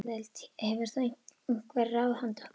Hefur þú einhver ráð handa okkur?